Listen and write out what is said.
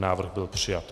Návrh byl přijat.